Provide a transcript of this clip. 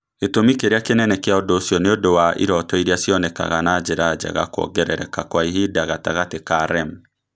Gĩtũmi kĩrĩa kĩnene kĩa ũndũ ũcio nĩ ũndũ wa iroto iria cionekaga na njĩra njega kwongerereka kwa ihinda gatagatĩ ka REM.